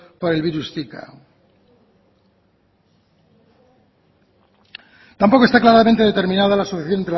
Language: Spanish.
por el virus zika tampoco está claramente determinada la asociación